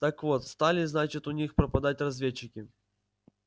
так вот стали значит у них пропадать разведчики